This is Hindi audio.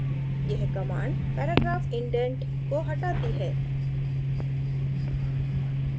यह command paragraph indent को हटाती है